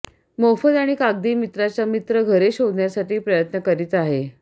मोफत आणि कागदी मित्राचा मित्र घरे शोधण्यासाठी प्रयत्न करीत आहे